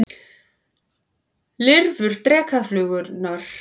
Lirfur drekaflugurnar lifa í vatni og eru einnig skæð rándýr.